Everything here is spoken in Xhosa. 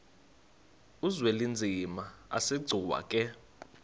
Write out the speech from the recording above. uzwelinzima asegcuwa ke